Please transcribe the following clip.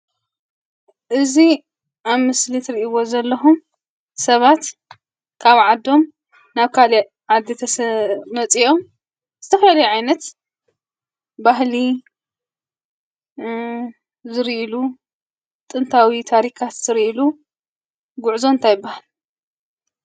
እዚ ኣብ ምስሊ እትሪኢዎ ዘለኩም ሰባት ካብ ዓዶም ናበ ካሊእ ዓዲ መፂኦም ዝተፈላለዩ ዓይነት ባህሊ ዝርኢሉ ጥንታዊ ታሪካት ዝርኢሉ ጉዕዞ እንታይ ይበሃል?